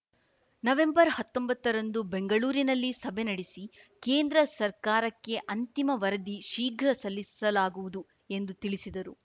ನವೆಂಬರ್ಹತ್ತೊಂಬತ್ತರಂದು ಬೆಂಗಳೂರಿನಲ್ಲಿ ಸಭೆ ನಡೆಸಿ ಕೇಂದ್ರ ಸರ್ಕಾರಕ್ಕೆ ಅಂತಿಮ ವರದಿ ಶೀಘ್ರ ಸಲ್ಲಿಸಲಾಗುವುದು ಎಂದು ತಿಳಿಸಿದರು